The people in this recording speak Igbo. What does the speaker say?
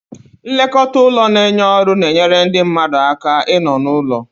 Nlekọta ụlọ na-enye ọrụ na-enyere ndị mmadụ aka ịnọ n'ụlọ.